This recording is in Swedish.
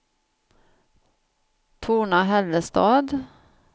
Torna-Hällestad